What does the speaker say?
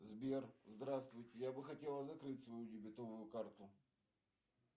сбер здравствуйте я бы хотела закрыть свою дебетовую карту